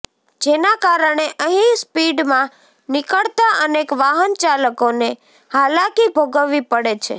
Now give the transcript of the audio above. જેના કારણે અહી સ્પીડમાં નીકળતા અનેક વાહનચાલકોને હાલાકી ભોગવવી પડે છે